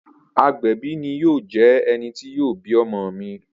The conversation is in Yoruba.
Agbẹbi ni yoo jẹ ẹni ti yoo bi ọmọ mi.